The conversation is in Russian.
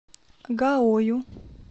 гаою